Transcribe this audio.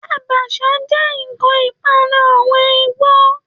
Àbàshà jẹ́ ǹkan ìpanu àwọn Igbo